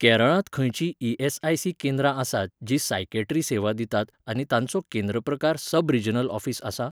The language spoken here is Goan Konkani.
केरळांत खंयचीं ई एस आय सी केंद्र आसात जीं सायकॅट्री सेवा दितात आनी तांचो केंद्र प्रकार सब रिजनल ऑफीस आसा?